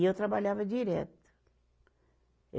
E eu trabalhava direto.